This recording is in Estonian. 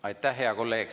Aitäh, hea kolleeg!